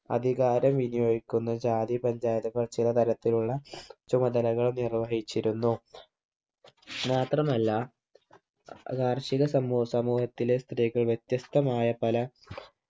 അധികാരം വിനിയോഗിക്കുന്ന ജാതി panchayat കൾ ചില തരത്തിലുള്ള ചുമതലകൾ നിർവഹിച്ചിരുന്നു മാത്രമല്ല കാർഷിക സമൂ സമൂഹത്തിലെ സ്ത്രീകൾ വ്യത്യസ്തമായ പല